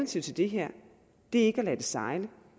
til det her ikke er at lade det sejle